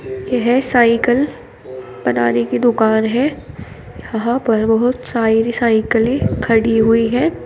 यह साइकल बनाने की दुकान है यहां पर बहोत सारी साइकिले खड़ी हुई हैं।